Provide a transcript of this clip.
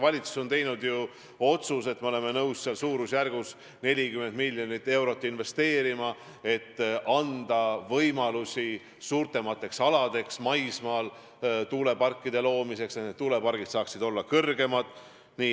Valitsus on teinud otsuse, et me oleme nõus suurusjärgus 40 miljonit eurot investeerima, et anda võimalusi suurematel aladel maismaal tuuleparkide loomiseks, ja need tuulikud võiksid olla kõrgemad.